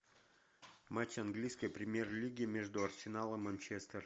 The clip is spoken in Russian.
матч английской премьер лиги между арсенал и манчестер